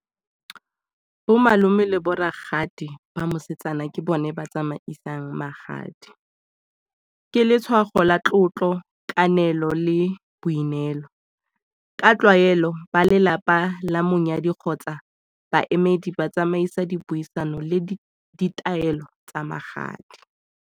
Bo malome le bo ragadi ba mosetsana ke bone ba tsamaisang magadi. Ke letshwao la tlotlo, kananelo le boineelo. Ka tlwaelo ba lelapa la monyadi kgotsa baemedi ba tsamaisa dipuisano le ditaelo tsa magadi.